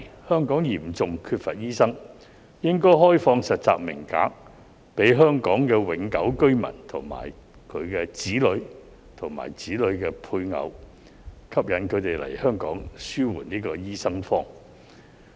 香港嚴重欠缺醫生，應該開放實習名額給香港永久性居民和其子女及子女的配偶，吸引他們來港實習紓緩"醫生荒"。